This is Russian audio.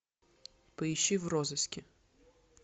поищи в розыске